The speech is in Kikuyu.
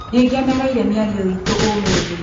Nĩngenereire mĩario itũ ũmũthĩ.